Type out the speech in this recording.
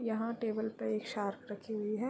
यहाँ टेबल पे एक शार्क रखी हुई है।